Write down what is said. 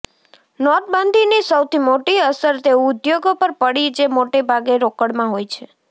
નોટબંધીની સૌથી મોટી અસર તે ઉદ્યોગો પર પડી જે મોટે ભાગે રોકડમાં હોય છે